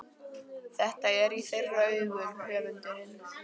Þetta er í þeirra augum höfundurinn